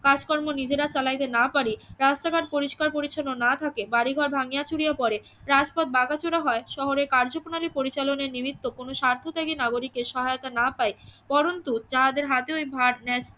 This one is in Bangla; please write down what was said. কাজকর্ম নিজেরা চালাইতে না পারি রাস্তা ঘাট পরিস্কার পরিচ্ছন্ন না থাকে বাড়িঘর ভাঙিয়া চুড়িয়া পড়ে রাস্তা ভাঙ্গা চোরা হয় শহরের কার্যপ্রণালী পরিচালনে নিমিত্ত কোনো স্বার্থত্যাগী নাগরিকের সহায়তা না পাইলে পরন্তু যাহাদের হাতে ওই ভার